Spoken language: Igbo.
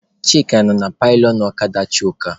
Chika nọ na pilionụ ọkada Chuka.